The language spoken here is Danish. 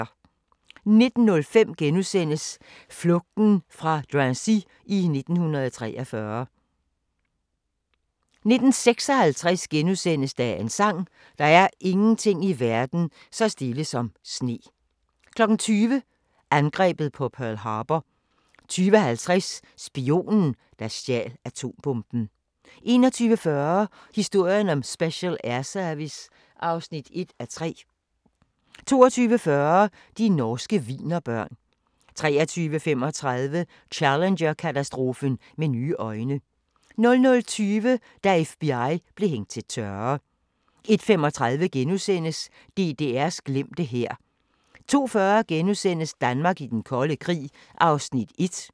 19:05: Flugten fra Drancy i 1943 * 19:56: Dagens sang: Der er ingenting i verden så stille som sne * 20:00: Angrebet på Pearl Harbor 20:50: Spionen, der stjal atombomben 21:40: Historien om Special Air Service (1:3) 22:40: De norske wienerbørn 23:35: Challenger-katastrofen med nye øjne 00:20: Da FBI blev hængt til tørre 01:35: DDR's glemte hær * 02:40: Danmark i den kolde krig (1:12)*